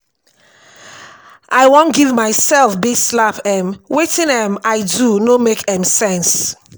i wan give myself big slap um wetin um i do no make um sense